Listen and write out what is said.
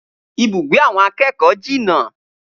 Ibùgbé àwọn akẹ́kọ̀ọ́ jìnà